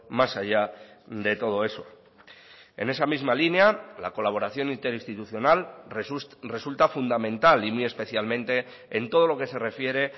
más allá de todo eso en esa misma línea la colaboración interinstitucional resulta fundamental y muy especialmente en todo lo que se refiere